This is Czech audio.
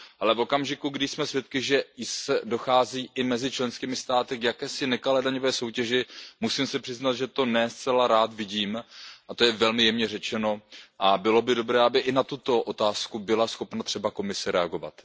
Ale v okamžiku, kdy jsme svědky, že dochází i mezi členskými státy k jakési nekalé daňové soutěži, musím se přiznat, že to ne zcela rád vidím a to je velmi jemně řečeno ,a bylo by dobré, aby i na tuto otázku byla schopna třeba Evropská komise reagovat.